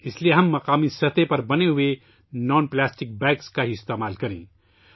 لہٰذا، ہم صرف مقامی طور پر بنائے گئے غیر پلاسٹک کے تھیلے استعمال کریں